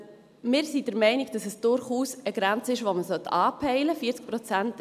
Wir sind der Meinung, dass es durchaus eine Grenze ist, die man anpeilen sollte.